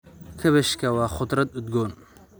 Kaabashka waa khudrad udgoon.